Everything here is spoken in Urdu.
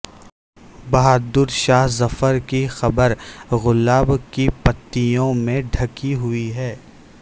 بہادر شاہ ظفر کی قبر گلاب کی پتیوں میں ڈھکی ہوئی ہے